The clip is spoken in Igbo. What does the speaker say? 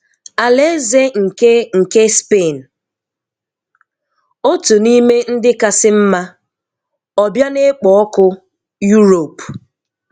Alaeze nke nke Spain – otu n'ime ndị kasị mma, ọbịa na-ekpo ọkụ Europe.